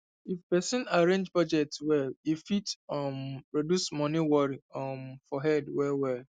if person arrange budget well e fit um reduce money worry um for head well well